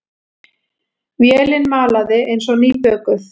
Vélin malaði eins og nýbökuð.